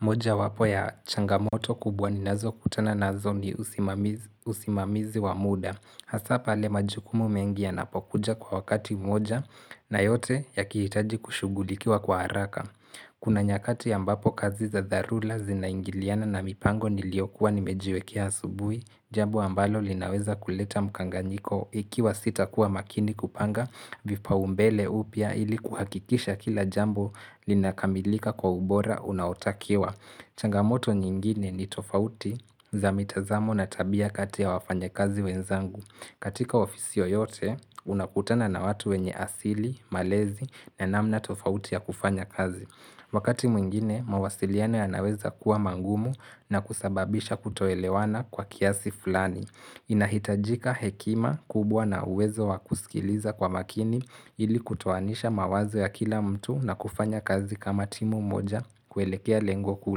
Moja wapo ya changamoto kubwa ni nazo kutana nazo ni usimamizi wa muda. Hasa pale majukumu mengi yanapokuja kwa wakati mmoja na yote yakihitaji kushughulikiwa kwa haraka. Kuna nyakati ambapo kazi za dharula zinaingiliana na mipango niliyokuwa nimejiwekea asubuhi, jambo ambalo linaweza kuleta mkanganyiko ikiwa sita kuwa makini kupanga, vipau mbele upya ili kuhakikisha kila jambo linakamilika kwa ubora unaotakiwa changamoto nyingine ni tofauti za mitazamo na tabia kati ya wafanya kazi wenzangu katika ofisi yoteyote, unakutana na watu wenye asili, malezi na namna tofauti ya kufanya kazi Wakati mwingine, mawasiliano ya naweza kuwa mangumu na kusababisha kutoelewana kwa kiasi fulani inahitajika hekima kubwa na uwezo wa kusikiliza kwa makini ili kutoanisha mawazo ya kila mtu na kufanya kazi kama timu moja kuelekea lengo kuu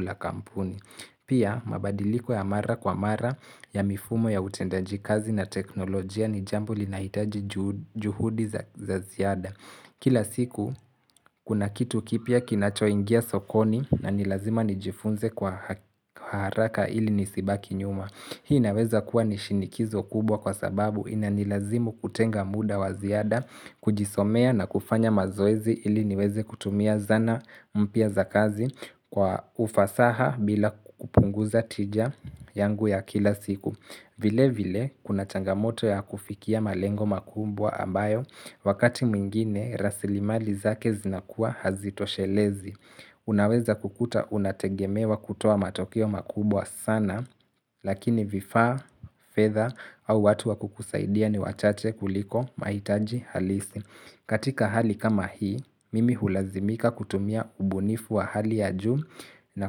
la kampuni Pia mabadiliko ya mara kwa mara ya mifumo ya utendaji kazi na teknolojia ni jambo linahitaji juhudi za ziada Kila siku kuna kitu kipya kinacho ingia sokoni na nilazima nijifunze kwa haraka ili nisibaki nyuma Hii naweza kuwa ni shinikizo kubwa kwa sababu ina nilazimu kutenga muda wa ziada, kujisomea na kufanya mazoezi ili niweze kutumia zana mpia za kazi kwa ufasaha bila kupunguza tija yangu ya kila siku. Vile vile kuna changamoto ya kufikia malengo makubwa ambayo wakati mwingine rasilimali zake zinakua hazito shelezi. Unaweza kukuta unategemewa kutoa matokeo makubwa sana lakini vifaa fedha au watu wa kukusaidia ni wachache kuliko mahitaji halisi. Katika hali kama hii, mimi hulazimika kutumia ubunifu wa hali ya juu na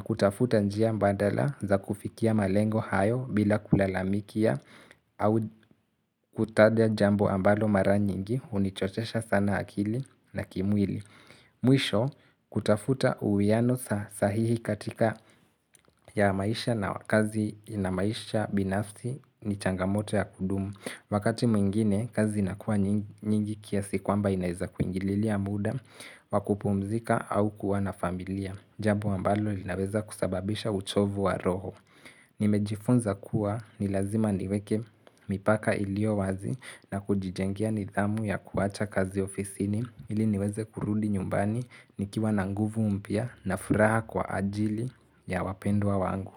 kutafuta njia mbadala za kufikia malengo hayo bila kulalamikia au kutaja jambo ambalo mara nyingi hunichotesha sana akili na kimwili. Mwisho kutafuta uwiano sahihi katika ya maisha na kazi na maisha binafsi ni changamoto ya kudumu Wakati mwingine kazi inakua nyingi kiasi kwamba inaeza kuingililia muda wakupumzika au kuwa na familia Jambo ambalo linaweza kusababisha uchovu wa roho Nimejifunza kuwa ni lazima niweke mipaka iliyo wazi na kujijengea nidhamu ya kuwacha kazi ofisini ili niweze kurudi nyumbani nikiwa na nguvu mpya na furaha kwa ajili ya wapendwa wangu.